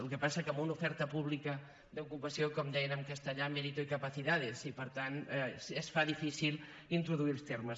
el que passa és que amb una oferta pública d’ocupació com deien en castellà mérito y capacidades i per tant es fa difícil introduir els termes